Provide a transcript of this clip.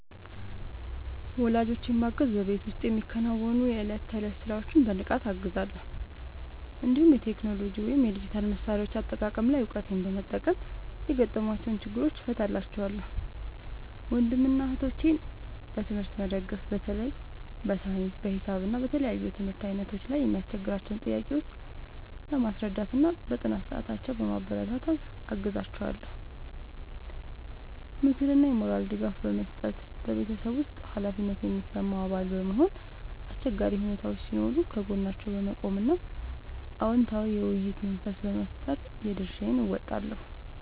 ወላጆቼን ማገዝ በቤት ውስጥ የሚከናወኑ የዕለት ተዕለት ሥራዎችን በንቃት እገዛለሁ፤ እንዲሁም የቴክኖሎጂ ወይም የዲጂታል መሣሪያዎች አጠቃቀም ላይ እውቀቴን በመጠቀም የገጠሟቸውን ችግሮች እፈታላቸዋለሁ። ወንድምና እህቶቼን በትምህርት መደገፍ በተለይ በሳይንስ፣ በሂሳብ እና በተለያዩ የትምህርት ዓይነቶች ላይ የሚያስቸግሯቸውን ጥያቄዎች በማስረዳትና በጥናት ሰዓታቸው በማበረታታት አግዛቸዋለሁ። ምክርና የሞራል ድጋፍ መስጠት በቤተሰብ ውስጥ ኃላፊነት የሚሰማው አባል በመሆን፣ አስቸጋሪ ሁኔታዎች ሲኖሩ ከጎናቸው በመቆም እና አዎንታዊ የውይይት መንፈስ በመፍጠር የድርሻዬን እወጣለሁ።